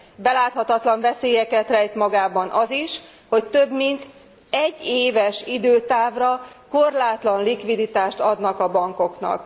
Beláthatatlan veszélyeket rejt magában az is, hogy több mint egyéves időtávra korlátlan likviditást adnak a bankoknak.